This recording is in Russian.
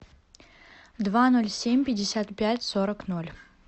два ноль семь пятьдесят пять сорок ноль